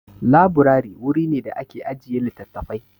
Laburari wuri ne da ake ajiye littafafai.